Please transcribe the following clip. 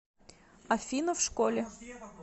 афина в школе